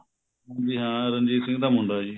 ਜੀ ਹਾਂ ਰਣਜੀਤ ਸਿੰਘ ਦਾ ਮੁੰਡਾ ਜੀ